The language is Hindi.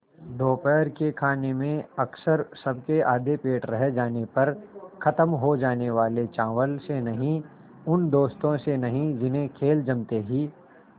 दोपहर के खाने में अक्सर सबके आधे पेट रह जाने पर ख़त्म हो जाने वाले चावल से नहीं उन दोस्तों से नहीं जिन्हें खेल जमते ही